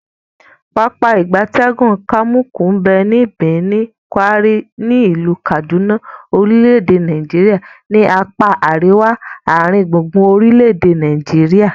Pápá ìgbatẹ́gùn Kamuku nbe ni Birnin, Gwari, ni ilu Kaduna orile-ede Nigeria ni apa ariwa aringbungbun orile ede Nigeria.